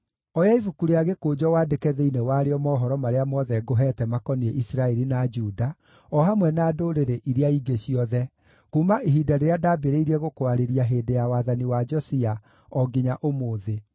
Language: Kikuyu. “Oya ibuku rĩa gĩkũnjo wandĩke thĩinĩ warĩo mohoro marĩa mothe ngũheete makoniĩ Isiraeli na Juda, o hamwe na ndũrĩrĩ iria ingĩ ciothe, kuuma ihinda rĩrĩa ndambĩrĩirie gũkwarĩria hĩndĩ ya wathani wa Josia, o nginya ũmũthĩ.